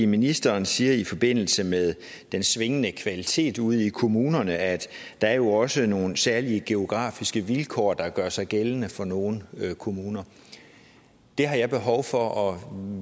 ministeren siger i forbindelse med den svingende kvalitet ude i kommunerne at der jo også er nogle særlige geografiske vilkår der gør sig gældende for nogle kommuner der har jeg behov for at